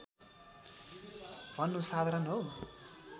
भन्नु साधारण हो